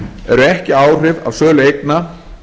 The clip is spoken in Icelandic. eru ekki áhrif af sölu eigna